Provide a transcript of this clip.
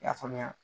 I y'a faamuya